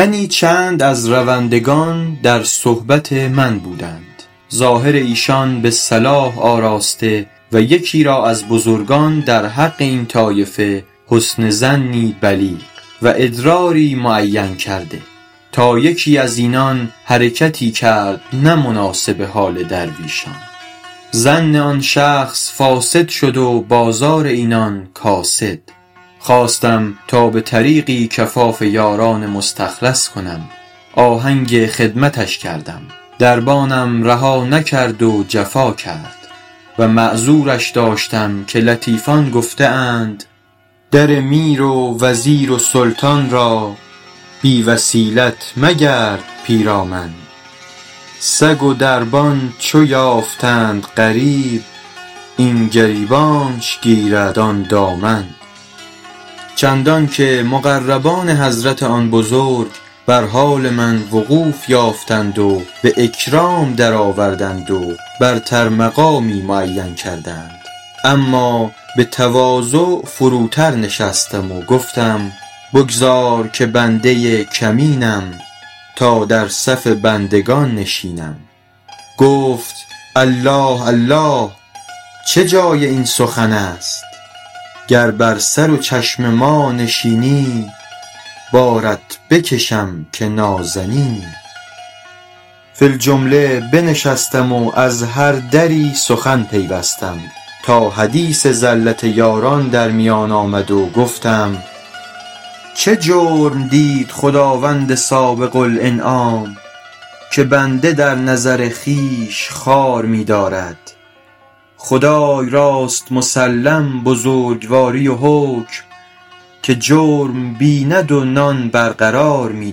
تنی چند از روندگان در صحبت من بودند ظاهر ایشان به صلاح آراسته و یکی را از بزرگان در حق این طایفه حسن ظنی بلیغ و ادراری معین کرده تا یکی از اینان حرکتی کرد نه مناسب حال درویشان ظن آن شخص فاسد شد و بازار اینان کاسد خواستم تا به طریقی کفاف یاران مستخلص کنم آهنگ خدمتش کردم دربانم رها نکرد و جفا کرد و معذورش داشتم که لطیفان گفته اند در میر و وزیر و سلطان را بی وسیلت مگرد پیرامن سگ و دربان چو یافتند غریب این گریبانش گیرد آن دامن چندان که مقربان حضرت آن بزرگ بر حال وقوف من وقوف یافتند و به اکرام درآوردند و برتر مقامی معین کردند اما به تواضع فروتر نشستم و گفتم بگذار که بنده کمینم تا در صف بندگان نشینم گفت الله الله چه جای این سخن است گر بر سر و چشم ما نشینی بارت بکشم که نازنینی فی الجمله بنشستم و از هر دری سخن پیوستم تا حدیث زلت یاران در میان آمد و گفتم چه جرم دید خداوند سابق الانعام که بنده در نظر خویش خوار می دارد خدای راست مسلم بزرگواری و حکم که جرم بیند و نان برقرار می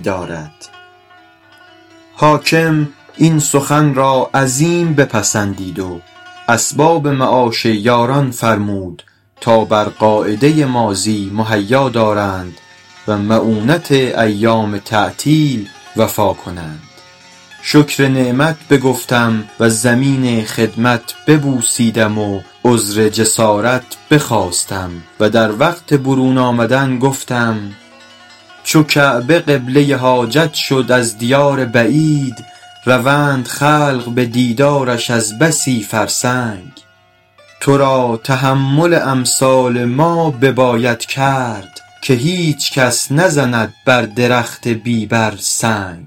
دارد حاکم این سخن را عظیم بپسندید و اسباب معاش یاران فرمود تا بر قاعده ماضی مهیا دارند و مؤونت ایام تعطیل وفا کنند شکر نعمت بگفتم و زمین خدمت ببوسیدم و عذر جسارت بخواستم و در وقت برون آمدن گفتم چو کعبه قبله حاجت شد از دیار بعید روند خلق به دیدارش از بسی فرسنگ تو را تحمل امثال ما بباید کرد که هیچ کس نزند بر درخت بی بر سنگ